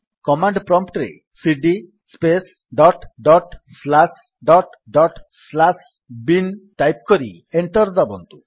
command prompt ରେ cd space dot dot slash dot dot slash bin type କରି enter ଦାବନ୍ତୁ